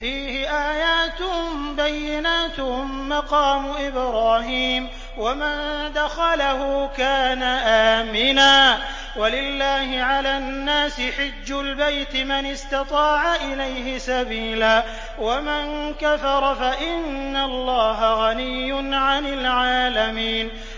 فِيهِ آيَاتٌ بَيِّنَاتٌ مَّقَامُ إِبْرَاهِيمَ ۖ وَمَن دَخَلَهُ كَانَ آمِنًا ۗ وَلِلَّهِ عَلَى النَّاسِ حِجُّ الْبَيْتِ مَنِ اسْتَطَاعَ إِلَيْهِ سَبِيلًا ۚ وَمَن كَفَرَ فَإِنَّ اللَّهَ غَنِيٌّ عَنِ الْعَالَمِينَ